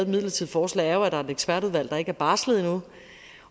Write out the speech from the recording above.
midlertidigt forslag er jo at der er et ekspertudvalg der ikke har barslet endnu